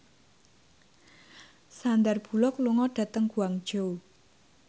Sandar Bullock lunga dhateng Guangzhou